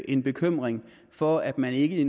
en bekymring for at man ikke i